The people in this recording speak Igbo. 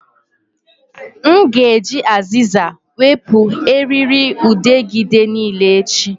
M ga-eji azịza wepụ erịrịudegịde niile echi